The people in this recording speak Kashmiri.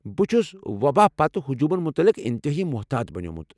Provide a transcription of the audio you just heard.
بہٕ چھُس وۄباہہٕ پتہٕ ہجوٗمن مُتعلق انتہٲیی محتاط بنیومُت ۔